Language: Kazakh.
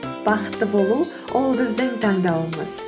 бақытты болу ол біздің таңдауымыз